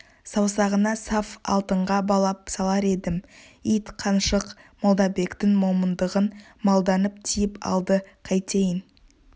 саусағына саф алтынға балап салар едім ит қаншық молдабектің момындығын малданып тиіп алды қайтейін